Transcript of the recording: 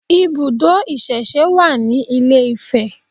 Ibùdó ìsẹ̀se wà ní ilé-Ifẹ̀